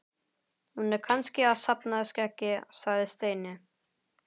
Hún er kannski að safna skeggi sagði Steini.